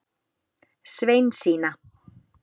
Sveinsína